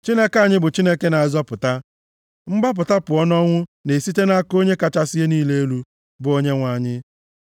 Chineke anyị bụ Chineke na-azọpụta; mgbapụta pụọ nʼọnwụ na-esite nʼaka Onye kachasị ihe niile elu, bụ Onyenwe anyị.